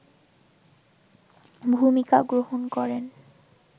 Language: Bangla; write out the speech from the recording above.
ভূমিকা গ্রহণ করেন